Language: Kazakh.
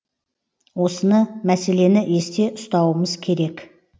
осыны мәселені есте ұстауымыз керек